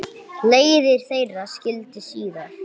Leiðir þeirra skildi síðar.